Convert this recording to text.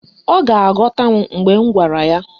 Ọ ga-aghọta m mgbe m gwara ya.